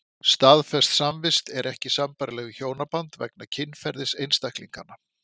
Staðfest samvist er ekki sambærileg við hjónaband vegna kynferðis einstaklinganna.